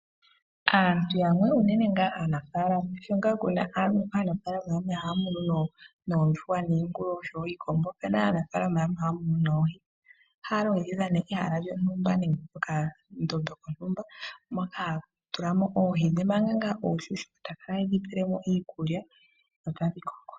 Aantu yamwe, unene ngaa aanafaalama sho ngaa kuna aanafaalama yamwe haya munu noondjuhwa niingulu oshowo iikombo, opuna aanafaalama yamwe haya munu noohi. Ohaya longekidha nee ehala lyontumba nenge okandombe kontumba moka haya tula mo oohi dhe manga ngaa onshunshuka, taya kala taye dhi pele mo iikulya, dho tadhi koko.